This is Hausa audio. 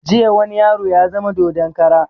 Jiya wani yaro ya zama dodon kara